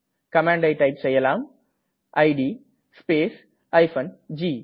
கமாண்டை டைப் செய்யலாம் it space g